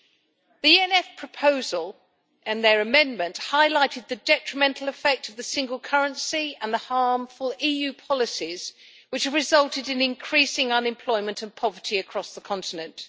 The ENF proposal and their amendment highlighted the detrimental effect of the single currency and the harmful EU policies which resulted in increasing unemployment and poverty across the continent.